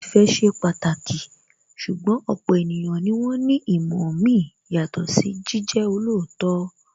Ìfẹ́ ṣe pàtàkì, ṣùgbọ́n ọ̀pọ̀ ènìyàn ni wón ní ìmọ̀ mi yàtọ̀ sí jíjẹ́ olóòótọ́